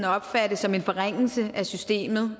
opfatte som en forringelse af systemet